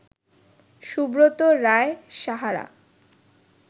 Subrata Roy Sahara